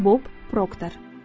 Bob Proctor.